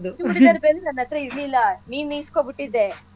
ಚೂಡಿದಾರ್ ವೆಲ್ ನನ್ಹತ್ರ ಇರಲಿಲ್ಲ ನೀನ್ ಇಸ್ಕೊಂಬಿಟಿದ್ದೆ.